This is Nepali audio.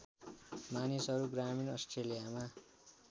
मानिसहरू ग्रामीण अस्ट्रेलियामा